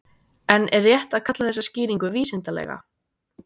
En er rétt að kalla þessa skýringu vísindalega?